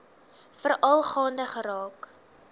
veral gaande geraak